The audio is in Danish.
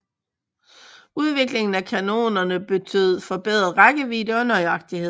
Udviklingen af kanonerne betød forbedret rækkevidde og nøjagtighed